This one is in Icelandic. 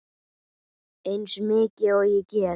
Eins mikið og ég get.